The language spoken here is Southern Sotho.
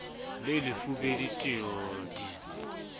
le lefubedu t w d